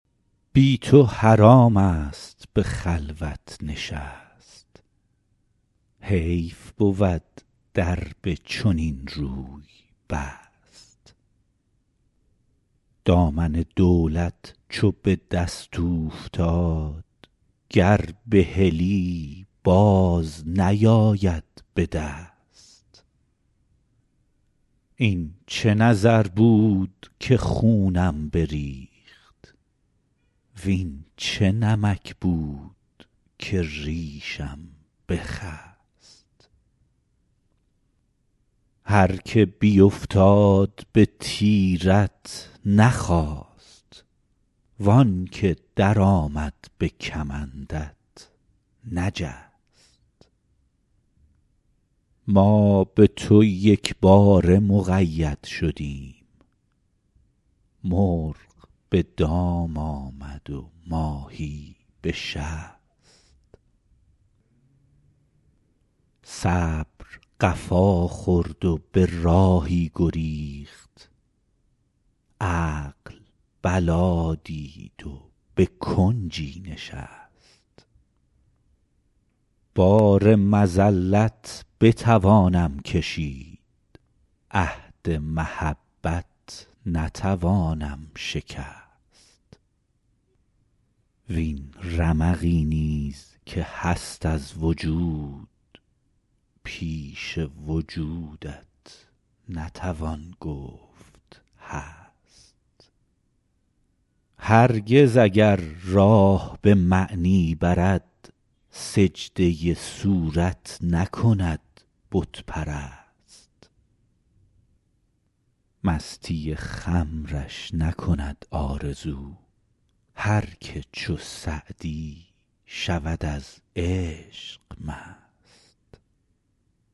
بی تو حرام است به خلوت نشست حیف بود در به چنین روی بست دامن دولت چو به دست اوفتاد گر بهلی باز نیاید به دست این چه نظر بود که خونم بریخت وین چه نمک بود که ریشم بخست هر که بیفتاد به تیرت نخاست وان که درآمد به کمندت نجست ما به تو یکباره مقید شدیم مرغ به دام آمد و ماهی به شست صبر قفا خورد و به راهی گریخت عقل بلا دید و به کنجی نشست بار مذلت بتوانم کشید عهد محبت نتوانم شکست وین رمقی نیز که هست از وجود پیش وجودت نتوان گفت هست هرگز اگر راه به معنی برد سجده صورت نکند بت پرست مستی خمرش نکند آرزو هر که چو سعدی شود از عشق مست